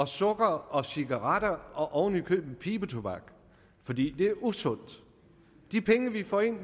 sukker cigaretter og oven i købet pibetobak fordi det er usundt af de penge vi får ind